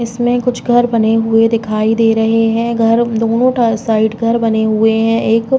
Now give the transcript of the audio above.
इसमें कुछ घर बने हुए दिखाई दे रहे हैं। घर दो नो साइड घर बने हुए हैं। एक --